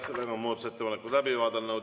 Oleme muudatusettepanekud läbi vaadanud.